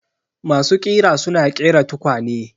Masu ƙira suna ƙera tukwane.